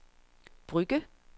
Brugge